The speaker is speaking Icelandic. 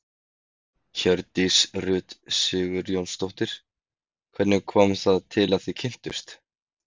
Hjördís Rut Sigurjónsdóttir: Hvernig kom það til að þið kynntust?